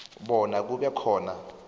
bona kube khona